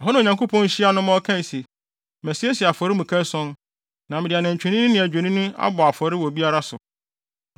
Ɛhɔ na Onyankopɔn hyiaa no ma ɔkae se, “Masiesie afɔremuka ason, na mede nantwinini ne odwennini abɔ afɔre wɔ biara so.”